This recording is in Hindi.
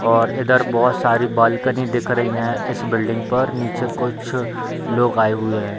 और इधर बहोत सारी बाल्कनी दिख रहीं हैं इस बिल्डिंग पर निचे कुछ लोग आये हुए हैं।